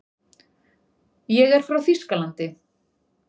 Ég er frá Þýskalandi.